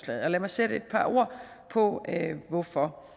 lad mig sætte et par ord på hvorfor